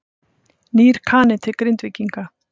Nýr Kani til Grindvíkinga